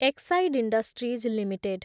Exide industries limited